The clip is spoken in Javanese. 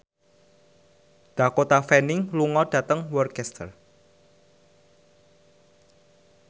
Dakota Fanning lunga dhateng Worcester